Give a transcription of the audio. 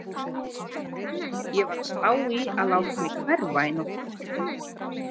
Ég var að spá í að láta mig hverfa í nótt.